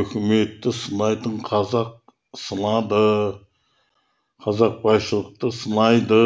өкіметті сынайды қазақты сынады қазақ байшылықты сынайды